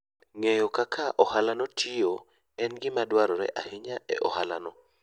Ng'eyo kaka ohalano tiyo en gima dwarore ahinya e ohalano.